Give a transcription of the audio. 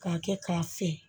K'a kɛ k'a fiyɛ